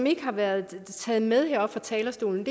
ikke har været taget med heroppe fra talerstolen